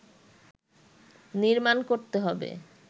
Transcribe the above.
নির্মাণ করতে হবে